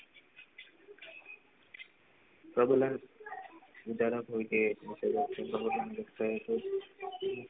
પ્રભુ લાલ બિચારા કોઈ હૈ